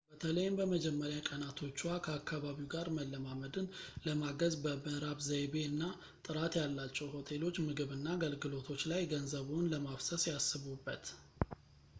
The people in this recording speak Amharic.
በተለይም በመጀመርያ ቀናቶችዎ ከአካባቢው ጋር መለማመድን ለማገዝ በምዕራብ-ዘይቤ እና ጥራት ያላቸው ሆቴሎች ምግብ እና አገልግሎቶች ላይ ገንዘብዎን ለማፍሰስ ያስቡበት